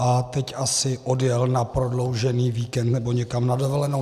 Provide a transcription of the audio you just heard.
A teď asi odjel na prodloužený víkend nebo někam na dovolenou.